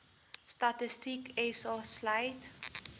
statistiek sa sluit